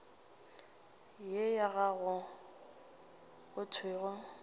ye ya gago go thwego